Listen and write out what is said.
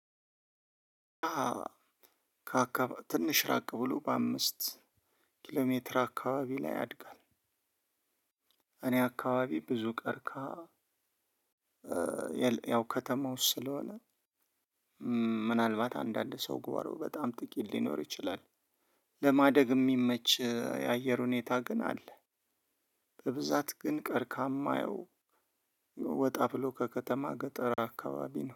ከአካባቢ ትንሽ ራቅ ብሎ በአምስት ኪሎሜትር አካባቢ ላይ ያድጋል እኔ አካባቢ ብዙ ቀርከሃ ያው ከተማው ስለሆነ ምናልባት አንዳንድ ሰው ጓሮ በጣም ጥቂት ሊኖር ይችላል ለማደግ የሚመች የአየር ሁኔታ ግን አለ። በብዛት ግን ቀርከሃ የማየው ወጣ ብሎ ከከተማ ገጠር አካባቢ ነው